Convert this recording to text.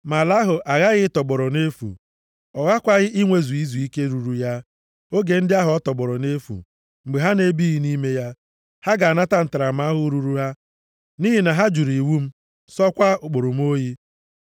Ma ala ahụ aghaghị ịtọgbọrọ nʼefu. Ọ ghakwaghị inwezu izuike ruuru ya, oge ndị ahụ ọ tọgbọrọ nʼefu, mgbe ha na-ebighị nʼime ya. Ha ga-anata ntaramahụhụ ruuru ha nʼihi na ha jụrụ iwu m, sọọkwa ụkpụrụ m oyi.